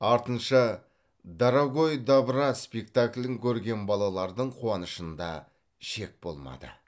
артынша дорогой добра спектаклін көрген балалардың қуанышында шек болмады